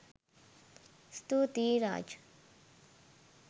ස්තුතියි රාජ්